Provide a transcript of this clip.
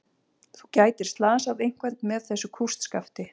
Þú gætir slasað einhvern með þessu kústskafti.